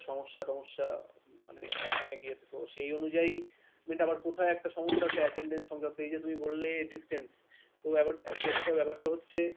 সমস্যা টমস্যা মানে অনেক ইয়েতে তো সেই অনুযায়ী আবার কোথাও একটা সমস্যা আছে attendance সংক্রান্ত এই যে তুমি বললে distance তো case টা ব্যাপারটা হচ্ছে,